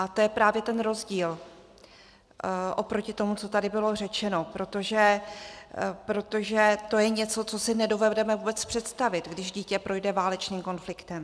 A to je právě ten rozdíl oproti tomu, co tady bylo řečeno, protože to je něco, co si nedovedeme vůbec představit, když dítě projde válečným konfliktem.